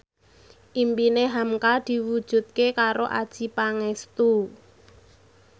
impine hamka diwujudke karo Adjie Pangestu